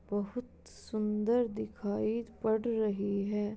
बहुत सुंदर दिखाई पड़ रही है।